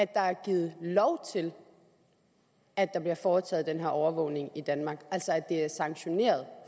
der er givet lov til at der bliver foretaget den her overvågning i danmark altså at det er sanktioneret